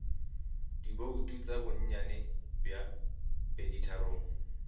dibouto tša bonnyane bja peditharong